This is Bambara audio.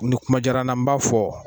Ni kuma jala n na n b'a fɔ.